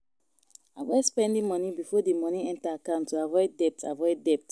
Avoid spending moni before di moni enter accont to avoid debt avoid debt